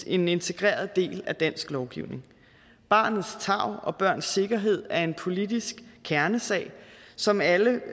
en integreret del af dansk lovgivning barnets tarv og børns sikkerhed er en politisk kernesag som alle